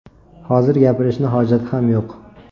Hozir gapirishni hojati ham yo‘q.